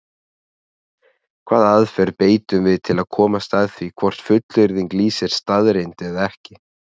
Hvaða aðferð beitum við til að komast að því hvort fullyrðing lýsir staðreynd eða ekki?